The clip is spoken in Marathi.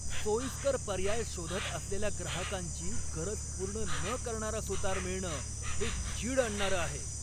सोयीस्कर पर्याय शोधत असलेल्या ग्राहकांची गरज पूर्ण न करणारा सुतार मिळणं हे चीड आणणारं आहे.